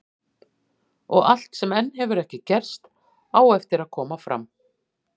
Og allt sem enn hefur ekki gerst, á eftir að koma fram.